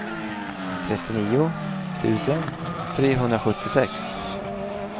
trettionio tusen trehundrasjuttiosex